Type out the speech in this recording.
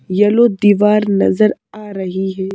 Yellow दीवार नजर आ रही है।